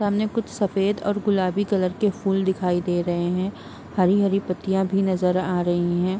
सामने कुछ सफेद और गुलाबी कलर के फूल नजर आ रहे हैं हरी-हरी पत्तियां नजर आ रही है।